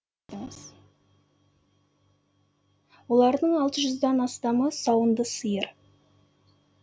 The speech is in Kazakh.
олардың алты жүзден астамы сауынды сиыр